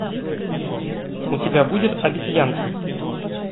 у тебя будет обезьянки